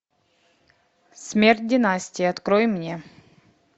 смерть династии открой мне